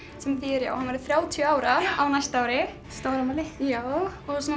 sem þýðir að hann verður þrjátíu ára á næsta ári stórafmæli já